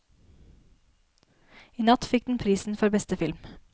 I natt fikk den prisen for beste film.